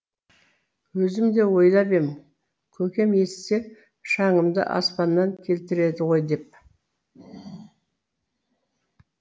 өзім де ойлап ем көкем естісе шаңымды аспаннан келтіреді ғой деп